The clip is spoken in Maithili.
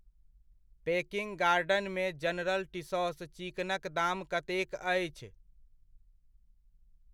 पेकिङ्ग गार्डनमे जनरल टीसॅास चिकनक दाम कतेक अछि?